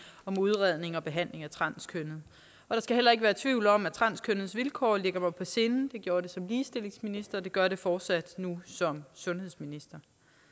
om udredning og behandling af transkønnede der skal heller ikke være tvivl om at transkønnedes vilkår ligger mig på sinde det gjorde det som ligestillingsminister og det gør det fortsat nu som sundhedsminister